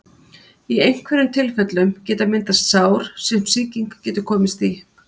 Í einhverjum tilfellum geta myndast sár sem sýking getur komist í.